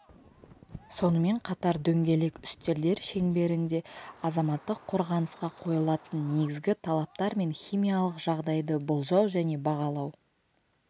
сонымен қатар дөңгелек үстелдер шеңберінде азаматтық қорғанысқа қойылатын негізгі талаптар мен химиялық жағдайды болжау және бағалау